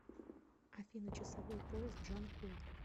афина часовой пояс джанкой